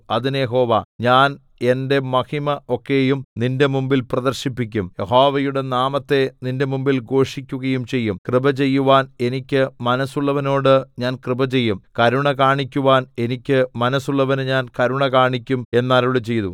അതിന് യഹോവ ഞാൻ എന്റെ മഹിമ ഒക്കെയും നിന്റെ മുമ്പിൽ പ്രദർശിപ്പിക്കും യഹോവയുടെ നാമത്തെ നിന്റെ മുമ്പിൽ ഘോഷിക്കുകയും ചെയ്യും കൃപ ചെയ്യുവാൻ എനിക്ക് മനസ്സുള്ളവനോട് ഞാൻ കൃപ ചെയ്യും കരുണ കാണിക്കുവാൻ എനിക്ക് മനസ്സുള്ളവന് ഞാൻ കരുണ കാണിക്കും എന്നരുളിച്ചെയ്തു